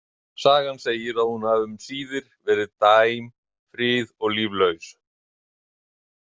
Sagan segir að hún hafi um síðir verið dæm frið- og líflaus.